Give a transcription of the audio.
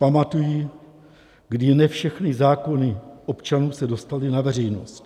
Pamatuji, kdy ne všechny zákony občanů se dostaly na veřejnost.